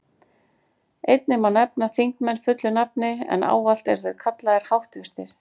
Einnig má nefna þingmenn fullu nafni, en ávallt eru þeir kallaðir háttvirtir.